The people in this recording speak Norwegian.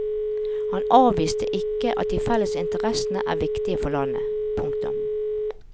Han avviste ikke at de felles interessene er viktige for landet. punktum